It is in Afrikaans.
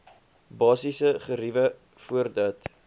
basiese geriewe voordat